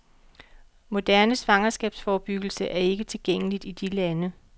Moderne svangerskabsforbyggelse er ikke tilgængeligt i de lande.